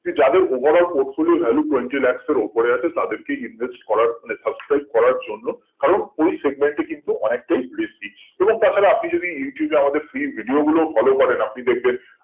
যাদের overall port গুলির valu twenty lakh এর উপরে আছে তাদেরকে invest করার ফলে subscribe করার জন্য কারণ ওই segment টি কিন্তু অনেকটাই risky এবং তা ছাড়া আপনি যদি youtube এ আমাদের free video গুলো follow করেন আপনি দেখবেন